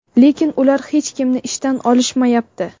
Lekin ular hech kimni ishdan olishmayapti.